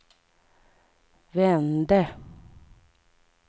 vände